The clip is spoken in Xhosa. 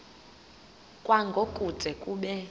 kwango kude kube